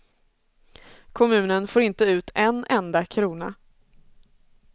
Kommunen får inte ut en enda krona.